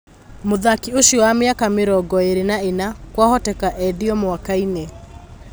Mũthaki ũcio wa mĩaka mĩrongoĩrĩ na ĩna kwahoteka endio mwakainĩ.